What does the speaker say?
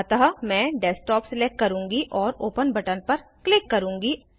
अतः मैं desktop select करुँगी और ओपन बटन पर क्लिक करुँगी